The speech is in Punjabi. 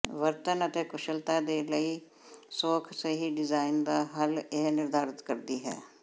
ਵਰਤਣ ਅਤੇ ਕੁਸ਼ਲਤਾ ਦੇ ਲਈ ਸੌਖ ਸਹੀ ਡਿਜ਼ਾਇਨ ਦਾ ਹੱਲ ਇਹ ਨਿਰਧਾਰਤ ਕਰਦੀ ਹੈ